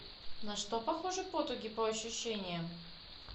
на что похожи потуги по ощущениям